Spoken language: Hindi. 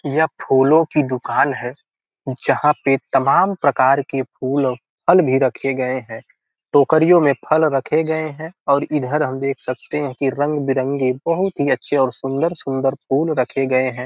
यह फूलों की दुकान है जहां पे तमाम प्रकार के फूल आ फल भी रखे गए हैं टोकरियों में फल रखे गए हैं और इधर हम देख सकते हैं की रंग-बिरंगी बहुत ही अच्छे और सुंदर-सुंदर फूल रखे गए हैं।